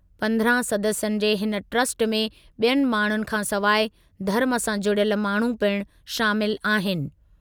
पंद्रहं सदस्यनि जे हिन ट्रस्ट में ॿियनि माण्हुनि खां सवाइ धर्मु सां जुड़ियल माण्हू पिणु शामिलु आहिनि।